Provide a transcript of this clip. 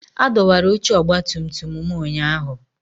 A dọwara oche ọgbatumtum m ụnyahụ